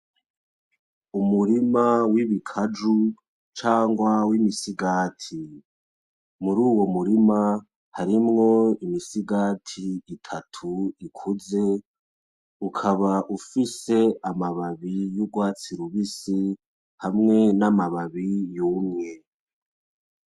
Umurima w'ibikaju canke imisigati. Muruyo murima, harimwo imisigati itatu ikaba ifise amababi yurwatsi rubisi hamwe namababi yumye